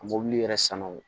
A mobili yɛrɛ sanuw